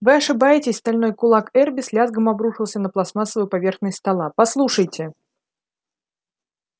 вы ошибаетесь стальной кулак эрби с лязгом обрушился на пластмассовую поверхность стола послушайте